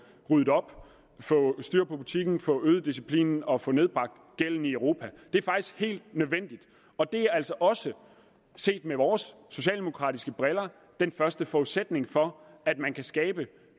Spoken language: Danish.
ryddet op få styr på butikken få øget disciplinen og få nedbragt gælden i europa det er faktisk helt nødvendigt og det er altså også set med vores socialdemokratiske briller den første forudsætning for at man kan skabe